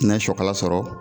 Na sɔkala sɔrɔ